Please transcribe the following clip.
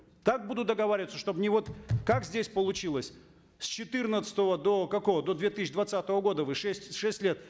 так будут договариваться чтобы не вот как здесь получилось с четырнадцатого до какого до две тысячи двадцатого года вы шесть шесть лет